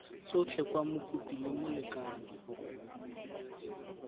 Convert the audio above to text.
tsotlhe kwa mokopi le molekane